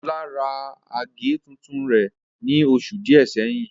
Olá ra àgé tuntun rẹ̀ ní oṣù díẹ̀ sẹ́yìn